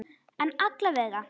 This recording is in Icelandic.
En alla vega.